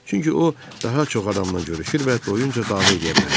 Çünki o daha çox adamla görüşür və doyunca dava eləyə bilərdi.